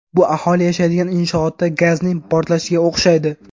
Bu aholi yashaydigan inshootda gazning portlashiga o‘xshaydi.